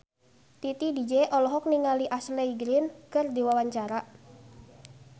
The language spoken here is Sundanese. Titi DJ olohok ningali Ashley Greene keur diwawancara